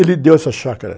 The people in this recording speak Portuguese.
Ele deu essa chácara.